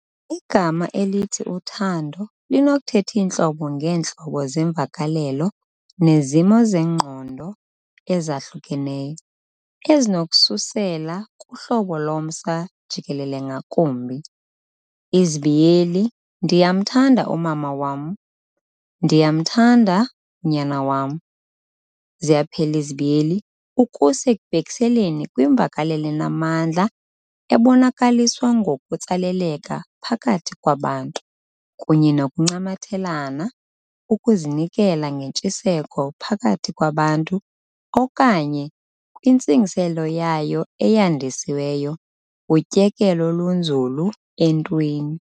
Igama elithi uthando linokuthetha iintlobo ngeentlobo zeemvakalelo nezimo zengqondo ezahlukeneyo, ezinokususela kuhlobo lomsa jikelele ngakumbi "Ndiyamthanda umama wam, ndiyamthanda unyana wam" ukusa ekubhekiseleleni kwimvakalelo enamandla ebonakaliswa ngokutsaleleka phakathi kwabantu. kunye nokuncamathela, ukuzinikezela ngentshiseko phakathi kwabantu okanye, kwintsingiselo yayo eyandisiweyo, utyekelo olunzulu entweni.